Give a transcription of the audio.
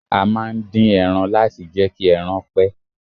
A máà ń din ẹran láti jẹ́ kí ẹran pẹ́.